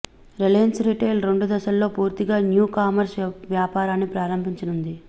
Reliance retail రెండు దశల్లో పూర్తిగా న్యూ కామర్స్ వ్యాపారాన్ని ప్రారంభించనుంది